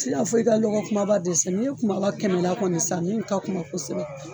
Ti n'a fɔ i ka lɔgɔ kumaba dɛsɛ, n'i ye kumaba kɛmɛ la kɔni san min ka kunba kosɛbɛ